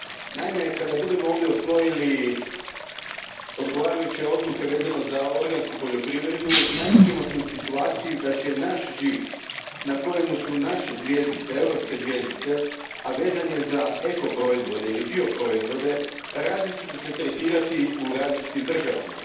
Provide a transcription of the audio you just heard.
Naime, kada budemo ovdje usvojili odgovarajuće odluke vezane za organsku poljoprivredu, naći ćemo se u situaciji da će se naš žig na kojemu su naše zvjezdice, europske zvjezdice, a vezan je za ekoproizvode ili bioproizvode, različito tretirati u različitim državama.